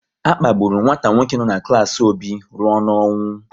A kpagburu nwata nwoke no n'klas Obi rụọ n'ọnwụ